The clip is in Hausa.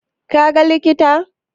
Ka ga likita?